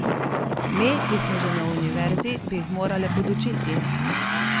Me, ki smo že na univerzi, bi jih morale podučiti.